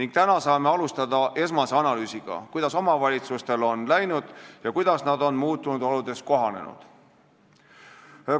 Nüüd saame alustada esmast analüüsi, kuidas omavalitsustel on läinud ja kuidas nad on muutunud oludes kohanenud.